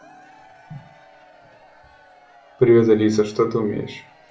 привет алиса что ты умеешь